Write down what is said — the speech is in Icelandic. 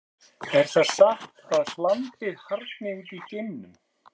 Er það satt að hlandið harðni út í geimnum?